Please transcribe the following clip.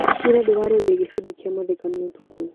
Ira ndĩrarorire gĩbindi kia mathekania ũtukũ.